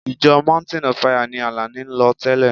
Ìjọ mountain of fire ni Àlàní ń lọ tẹ́lẹ̀.